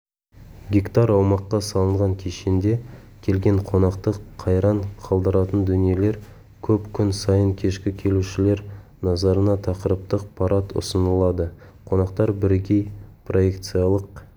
гектар аумаққа салынған кешенде келген қонақты қайран қалдыратын дүниелер көп күн сайын кешкі келушілер назарына тақырыптық парад ұсынылады қонақтар бірегей проекциялық